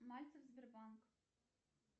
мальцев сбербанк